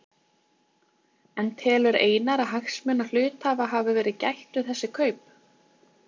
En telur Einar að hagsmuna hluthafa hafi verið gætt við þessi kaup?